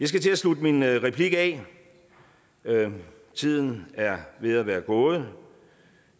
skal til at slutte min replik af tiden er ved at være gået